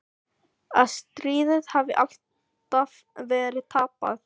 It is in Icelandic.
Að stríðið hafi alltaf verið tapað.